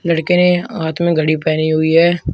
लड़के ने हाथ में घड़ी पहनी हुई है।